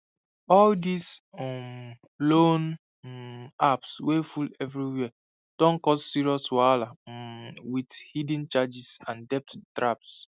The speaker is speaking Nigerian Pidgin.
all these um loan um apps wey full everywhere don cause serious wahala um with hidden charges and debt traps